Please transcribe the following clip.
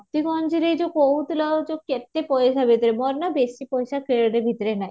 ମୋତିଗଞ୍ଜରେ ଯୋଉଁ କହୁଥିଲ ଯୋଉଁ କେତେ ପଇସା ଭିତରେ ମୋର ନା ବେଶି ପଇସା କିଣିବା ଭିତରେ ନାହିଁ